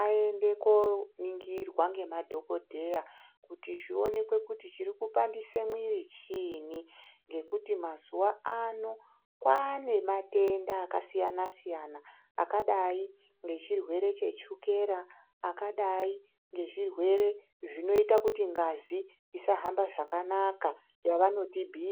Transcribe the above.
ayende koo ningirwa ngema dhokodheya, kuti zvionekwe kuti chiri kupandise mwuiri chiinyi, ngekuti mazuwa ano kwaane matenda akasiyana siyana, akadai ngechirwere chechukera , akadai ngezvirwere zvinoita kuti ngazi isahambe zvakanaka, yavanoti BP.